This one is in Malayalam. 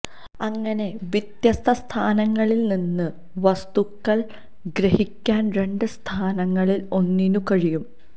അങ്ങനെ വ്യത്യസ്ത സ്ഥാനങ്ങളിൽ നിന്ന് വസ്തുക്കൾ ഗ്രഹിക്കാൻ രണ്ട് സ്ഥാനങ്ങളിൽ ഒന്നിനും കഴിയും